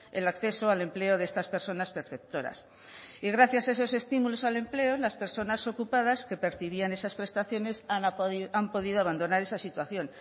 el acceso al empleo de estas personas perceptoras y gracias esos estímulos al empleo las personas ocupadas que percibían esas prestaciones han podido abandonar esa situación